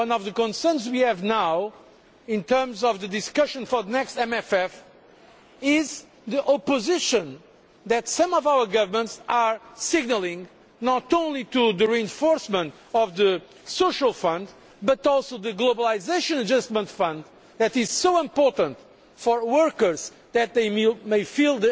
As you may be aware, one of the concerns we now have in terms of the discussion for the next MFF is the opposition that some of our governments are signalling, not only about the reinforcement of the Social Fund, but also the Globalisation Adjustment Fund, which is so important for workers